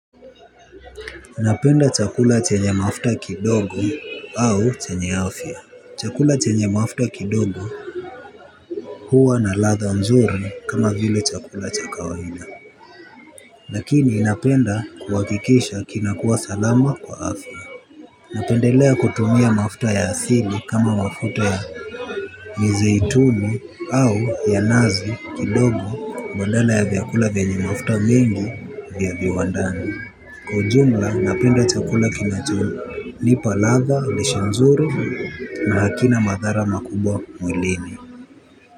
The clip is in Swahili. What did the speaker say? Napenda chakula chenye mafuta kidogo au chenye afya. Chakula chenye mafuta kidogo huwa na ladha nzuri kama vile chakula cha kawaida. Lakini napenda kuwakikisha kinakuwa salama kwa afya. Napendelea kutumia mafuta ya asili kama mafuta ya Mizei tunu au ya nazi kidogo badala ya vyakula vyenye mafuta mingi vya viwandaani. Kwa ujumla napenda chakula kinacho nipa latha lishe nzuri na hakina madhara makubwa mwilini.